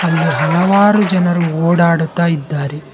ಇಲ್ಲಿ ಹಲವಾರು ಜನರು ಓಡಾಡುತ್ತಾ ಇದ್ದಾರೆ.